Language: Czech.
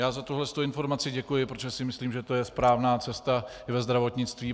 Já za tuhle informaci děkuji, protože si myslím, že to je správná cesta i ve zdravotnictví.